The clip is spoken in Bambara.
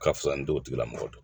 Ka fisa ni t'o tigilamɔgɔ dɔn